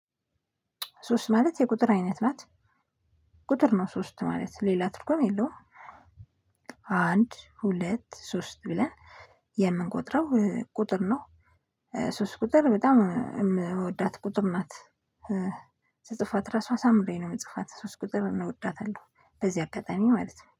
ሶስት ማለት የቁጥር አይነት ናት። ቁጥር ነው ሶስት ማለት ሌላ ትርጉም የለውም። አንድ ሁለት ሶስት ብለን የምንቆጥረው ቁጥር ነው። ሶስት ቁጥር በጣም የምወዳት ቁጥር ናት። ስፅፋት ራሷ አሳምሬ ነው ምጽፋት ሶስት ቁጥር እንወዳታለሁ በዚህ አጋጣሚ ማለት ነው